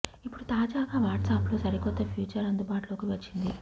ఇప్పుడు తాజాగా వాట్సాప్ లో సరికొత్త ఫీచర్ అందుబాటులోకి వచ్చింది